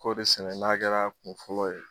Kɔɔri sɛnɛ n'a kɛra kun fɔlɔ ye.